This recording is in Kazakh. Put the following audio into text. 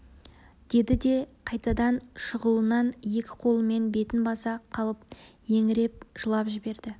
деді де қайтадан шұғылынан екі қолымен бетін баса қалып еңіреп жылап жіберді